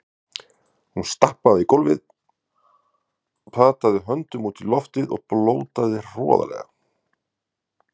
Hún stappaði í gólfið, pataði höndunum út í loftið og blótaði hroðalega.